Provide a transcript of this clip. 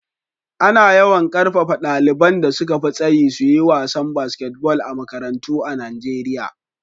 Ana yawan ƙarfafa ɗaliban da suka fi tsayi su yi wasan basketball a makarantu a Nijeriya.